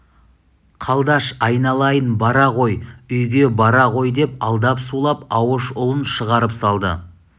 қалдаш айналайын бара ғой үйге бара ғой деп алдап-сулап ауыш ұлын шығарып салды